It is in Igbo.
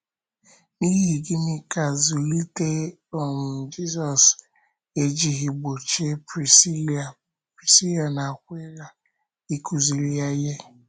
N’ihi gịnị ka zụlite um Jizọs ejighị gbochie Prisila Prisila na Akwịla ịkụziri ya ihe?